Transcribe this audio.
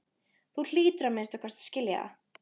Þú hlýtur að minnsta kosti að skilja það.